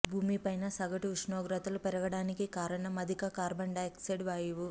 భూమిపైన సగటు ఉష్ణోగ్రతలు పెరగడానికి కారణం అధిక కార్బన్ డయాక్సైడ్ వాయువు